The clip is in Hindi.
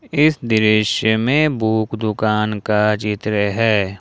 इस दृश्य में बुक दुकान का चित्र है।